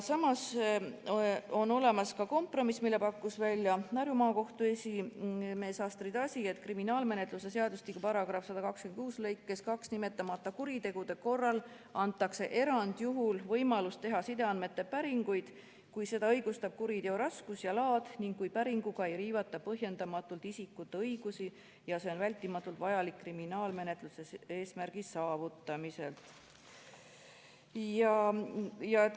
Samas on olemas ka kompromiss, mille pakkus välja Harju Maakohtu esimees Astrid Asi, et kriminaalmenetluse seadustiku § 126 lõikes 2 nimetamata kuritegude korral antakse erandjuhul võimalus teha sideandmete päringuid, kui seda õigustab kuriteo raskus ja laad ning kui päringuga ei riivata põhjendamatult isikute õigusi ja see on vältimatult vajalik kriminaalmenetluse eesmärgi saavutamiseks.